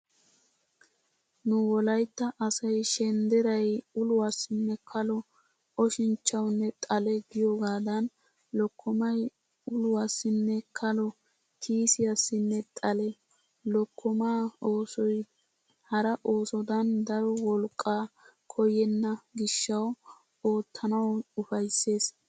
Nu wolaytta asay shendderay uluwassinne kalo oshinchchawunne xale giyogaadan lokkomay uluwassinne kalo kiisiyassinne xale. Lokkomaa oosoy hara oosodan daro wolqqaa koyyenna gishshawu oottanawu ufayssees.